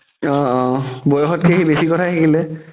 অ অ বয়সতকে সি বেচি কথা শিকিলে